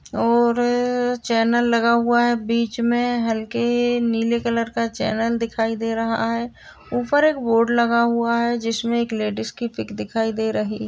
और चैनल लगा हुआ है। बीच में हल्के नीले कलर का चैनल दिखाई दे रहा है। ऊपर एक बोर्ड लगा हुआ है जिसमें एक लेडीज की पिक दिखाई दे रही --